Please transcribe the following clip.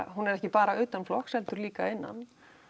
hún er ekki bara utanflokks heldur líka innan